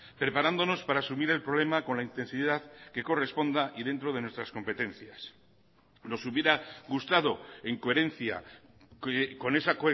preparándonos para asumir el problema con la intensidad que corresponda y dentro de nuestras competencias nos hubiera gustado en coherencia con esa